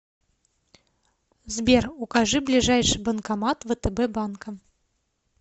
сбер укажи ближайший банкомат втб банка